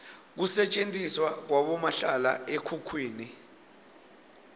kusetjentiswa kwabomahlala ekhukhwini